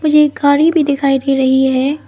मुझे एक गाड़ी भी दिखाई दे रही है।